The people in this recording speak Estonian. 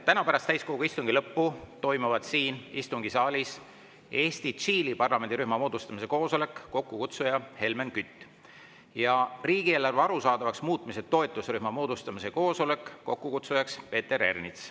Täna pärast täiskogu istungi lõppu toimuvad siin istungisaalis Eesti-Tšiili parlamendirühma moodustamise koosolek, mille kokkukutsuja on Helmen Kütt, ja riigieelarve arusaadavaks muutmise toetusrühma moodustamise koosolek, mille kokkukutsuja on Peeter Ernits.